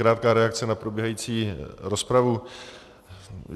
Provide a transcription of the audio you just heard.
Krátká reakce na probíhající rozpravu.